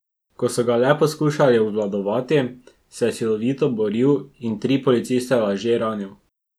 Ko so ga le poskušali obvladati, se je silovito boril in tri policiste laže ranil.